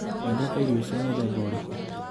Wendete irio cia mũthemba ũrĩkũ?